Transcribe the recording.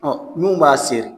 Ɔ minnu b'a seri